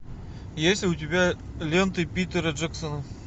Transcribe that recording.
есть ли у тебя ленты питера джексона